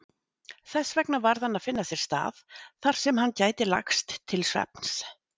Þessvegna varð hann að finna sér stað þarsem hann gæti lagst til svefns.